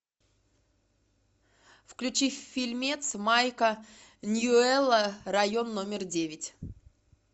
включи фильмец майка ньюэлла район номер девять